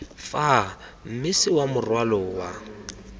fa mmese wa morwalo wa